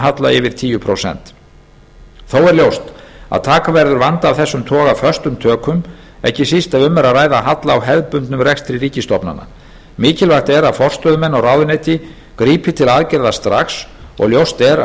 halla yfir tíu prósent þó er ljóst að taka verður vanda af þessum toga föstum tökum ekki síst ef um er að ræða halla á hefðbundnum rekstri ríkisstofnana mikilvægt er að forstöðumenn og ráðuneyti grípi til aðgerða strax og ljóst er að